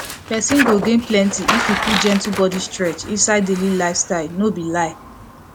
person go gain plenty if e put gentle body stretch inside daily lifestyle no be lie